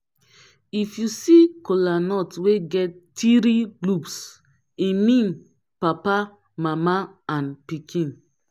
if yu see kolanut wey get tiri lobes e mean papa mama and pikin